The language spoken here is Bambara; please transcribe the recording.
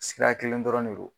Sira kelen dɔrɔn ne don.